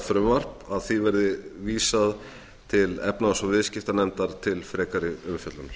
að þessu frumvarpi verði vísað til efnahags og viðskiptanefndar til frekari umfjöllunar